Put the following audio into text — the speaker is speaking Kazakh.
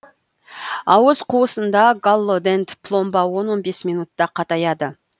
ауыз қуысында галлодент пломба он он бес минутта қатаяды